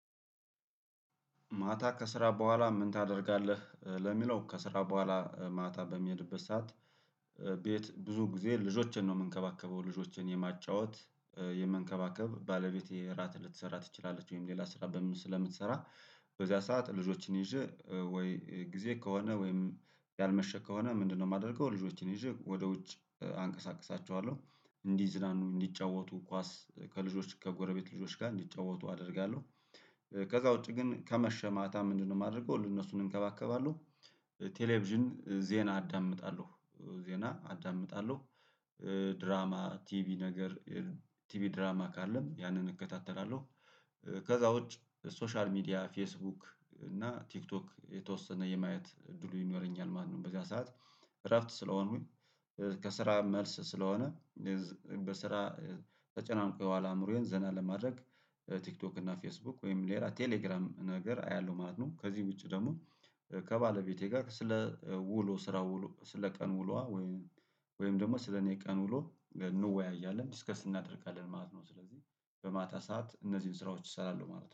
ማታ ከስራ በኋላ ምን ታደርጋለህ ለሚለው ከስራ በኋላ ማታ በሚሄድበት ሰዓት? ቤት ብዙ ጊዜ ልጆቼን ነው የምንከባከበው ልጆቼን የማጫወት የምንከባከብ ባለቤቴ እራት ልትሰራ ትችላለች ወይም ሌላ ስራ በምት ስለምትሰራ በዚያ ሰዓት ልጆችን ይዤ ወይ ጊዜ ከሆነ ወይም ያልመሸ ከሆነ ምንድነው የማደርገው ልጆቼን ይዤ ወደ ውጭ አንቀሳቅሳቸዋለሁ እንዲዝናኑ እንዲጫወቱ ኳስ ከልጆች ከጎረቤት ልጆች ጋር እንዲጫወቱ አደርጋለሁ። ከዛ ውጪ ግን ከመሸ ማታ ምንድነው የማደርገው ለእነሱ እንከባከባለሁ። ቴሌቪዥን ዜና አዳምጣለሁ ዜና አዳምጣለሁ። ድራማ ቲቪ ነገር ቲቪ ድራማ ካለም ያንን እከታተላለሁ። ከዛ ውጭ ሶሻል ሚዲያ ፌስቡክ እና ቲክቶክ የተወሰነ የማየት እድሉ ይኖረኛል ማነው በዚያ ሰዓት እረፍት ስለሆኑኝ። ከስራ መልስ ስለሆነ በስራ ተጨናንቀው አእምሮዬን ዘና ለማድረግ ቲክቶክ እና ፌስቡክ ወይም ሌላ ቴሌግራም ነገር አያለሁ ማለት ነው። ከዚህ ውጪ ደግሞ ከባለቤቴ ጋር ስለ ውሎ ስራው ስለ ቀን ውሎዋ። ወይም ደግሞ ስለኔ ቀን ውሎ እንወያያለን ዲስከስ እናደርጋለን ማለት ነው። ስለዚህ በማታ ሰዓት እነዚህን ስራዎች እሰራለሁ ማለት ነው